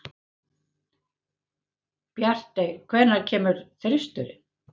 Bjartey, hvenær kemur þristurinn?